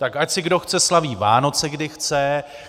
Tak ať si kdo chce slaví Vánoce, kdy chce.